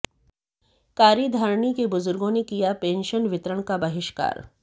कारी धारणी के बुजुर्गों ने किया पेंशन वितरण का बहिष्कार